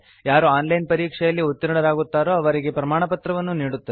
ಯಾರು online ಪರೀಕ್ಷೆಯಲ್ಲಿ ಉತ್ತೀರ್ಣರಾಗುತ್ತಾರೋ ಅವರಿಗೆ ಪ್ರಮಾಣಪತ್ರವನ್ನೂ ನೀಡುತ್ತದೆ